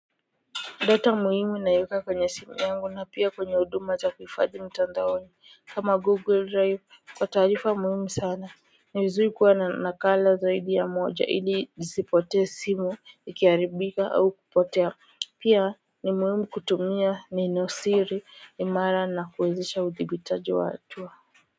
Data muhimi naieka kwenye simu yangu na pia kwenye huduma za kuhifadhi mtandaoni kama google drive kwa taarifa muhimu sana ni vizuri kuwa na nakala zaidi ya moja iliisipoter simu ikiharibika au kupotea pia ni muhimi kutumia ni nenosiri ni mara na kuwezesha udibitaji wa hatua.